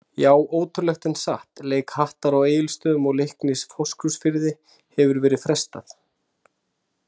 Já ótrúlegt en satt, leik Hattar á Egilsstöðum og Leiknis Fáskrúðsfirði hefur verið frestað.